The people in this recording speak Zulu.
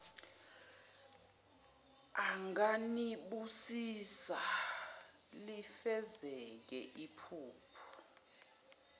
anganibusisa lifezeke iphupho